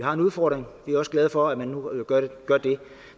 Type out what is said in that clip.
har en udfordring vi er også glade for at man nu gør det